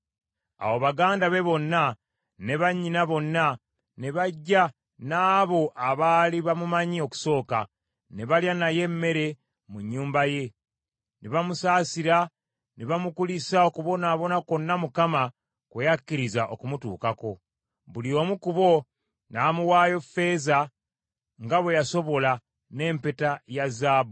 Awo baganda be bonna ne bannyina bonna ne bajja n’abo abaali bamumanyi okusooka, ne balya naye emmere mu nnyumba ye; ne bamusaasira ne bamukulisa okubonaabona kwonna Mukama kwe yakkiriza okumutuukako. Buli omu ku bo n’amuwaayo ffeeza nga bwe yasobola, n’empeta ya zaabu.